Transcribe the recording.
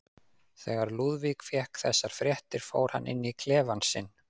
Þegar Lúðvík fékk þessar fréttir fór hann inn í klefann sinn.